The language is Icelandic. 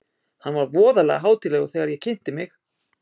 Hann var voðalega hátíðlegur þegar ég kynnti mig.